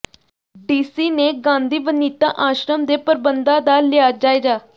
DC ਨੇ ਗਾਂਧੀ ਵਨਿਤਾ ਆਸ਼ਰਮ ਦੇ ਪ੍ਰਬੰਧਾਂ ਦਾ ਲਿਆ ਜਾਇਜ਼ਾ